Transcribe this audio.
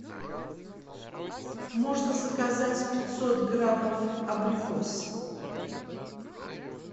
можно заказать пятьсот граммов абрикос